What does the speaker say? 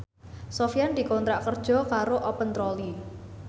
Sofyan dikontrak kerja karo Open Trolley